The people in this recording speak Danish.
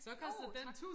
Uh tak